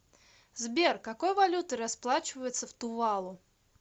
сбер какой валютой расплачиваются в тувалу